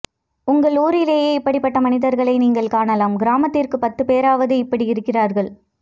உங்கள் ஊரிலேயே இப்படி பட்ட மனிதர்களை நீங்கள் காணலாம் கிராமத்திற்கு பத்து பேராவது இப்படி இருக்கிறார்கள்